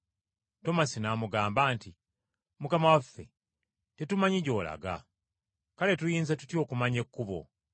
Tomasi n’amugamba nti, “Mukama waffe, tetumanyi gy’olaga, kale tuyinza tutya okumanya ekkubo?”